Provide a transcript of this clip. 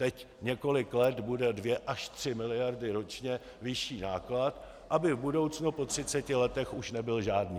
Teď několik let bude dvě až tři miliardy ročně vyšší náklad, aby v budoucnu, po 30 letech, už nebyl žádný.